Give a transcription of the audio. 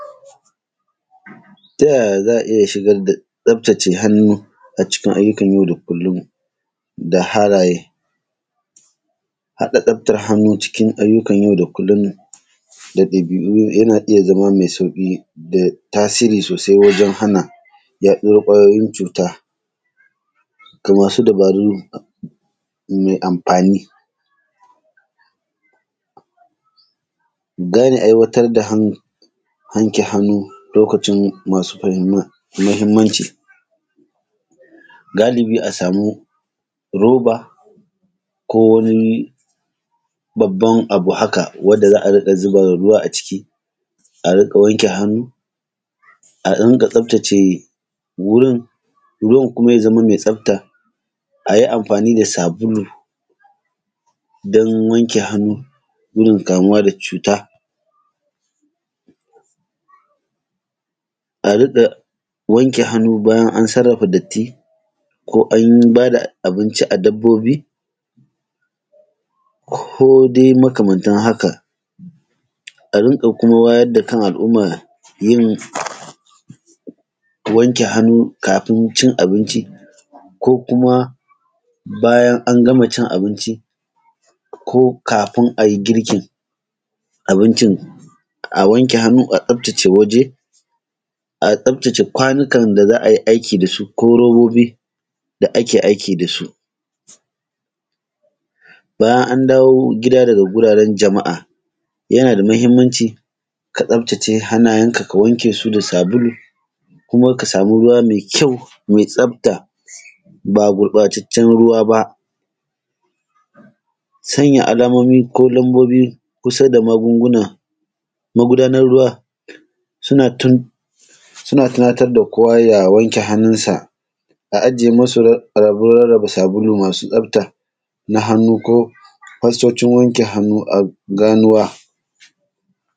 Ta yaya za a iya shigar da tsaftace hannu a cikin ayyukan yau da kullum da halaye? haɗa tsaftar hannu cikin ayyukan yau da kullum da ɗabi’u yana iya zama mai sauƙi da tasiri sosai wajen hana yaɗuwar ƙwayoyin cuta ga masu dabaru mai amfani. Gane aiwatar da hannu, wanke hannu lokacin masu muhimmanci: galubi a samu roba ko wani babban abu haka wanda za a riƙa zuba ruwa a ciki, a riƙa wanke hannu a riƙa tsaftace wurin, ruwan kuma ya zama mai tsafta. A yi amfani da sabulu don wanke hannu, gudun kamuwa da cuta. A riƙa wanke hannu bayan sarrafa datti ko an ba da abinci a dabbobi ko dai makamantan haka. A riƙa kuma wayar da kan al’umma yin wanke hannu kafin cin abinci ko kuma bayan an gama cin abinci ko kafin a yi girkin abincin, a wanke hannu a tsaftace waje, a tsaftace kwanukan da za a yi aiki da su ko robobi da ake aiki da su. Bayan an dawo gida daga guraren jama’a yana da muhimmanci ka tsaftace hannayenka ka wanke su da sabulu kuma ka samu ruwa mai kyau mai tsafta, ba gurɓataccen ruwa ba. Sanya alamomi ko lambobi kusa da magunguna, magudanar ruwa suna tunatar da kowa ya wanke hannunsa, a aje musu abin rarraba sabulu masu tsafta na hannu ko fastocin wanke hannu a ganuwa.